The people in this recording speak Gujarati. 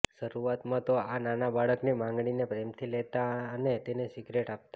શરૂઆતમાં તો આ નાના બાળકની માગણીને પ્રેમથી લેતા અને તેને સિગરેટ આપતાં